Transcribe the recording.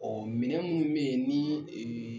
Ɔ minɛn minnu bɛ yen ni